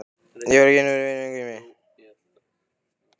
Ég verð að kynna yður fyrir vini mínum Grími.